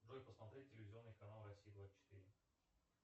джой посмотреть телевизионный канал россия двадцать четыре